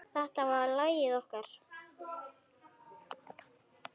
Þetta var lagið okkar.